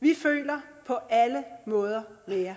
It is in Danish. vi føler på alle måder med jer